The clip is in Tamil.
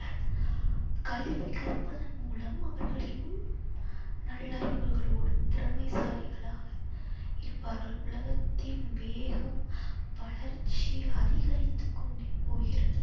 கல்வி கற்பதன் மூலம் அவர்களின் நல் அறிவுகளோடு திறமைசாலிகளாக இருப்பார்கள். உலகத்தின் வேகம் வளர்ச்சி அதிகரித்து கொண்டே போகிறது.